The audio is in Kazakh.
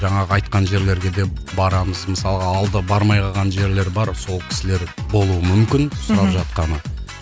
жаңағы айтқан жерлерге де барамыз мысалға алда бармай қалған жерлер бар сол кісілер болуы мүмкін сұрап жатқаны